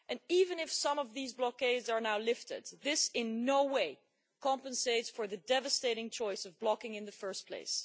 Even if some of these blockades are lifted now, this in no way compensates for the devastating choice of blocking in the first place.